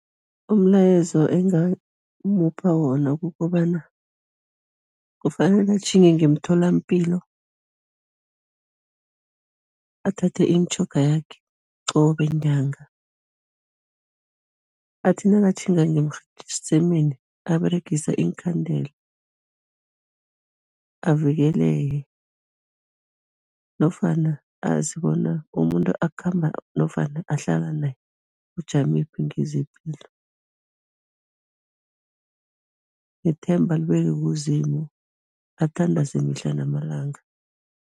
Umlayezo engamupha wona kukobana, kufanele atjhinge ngemtholampilo, athathe imitjhoga yakhe qobe nyanga, athi nakatjhinga ngemsemeni aberegise iinkhandela, avikeleke nofana azi bona umuntu akhamba nofana ahlala naye, ujamephi ngezepilo nethemba alibeke kuZimu, athandaze mihla namalanga.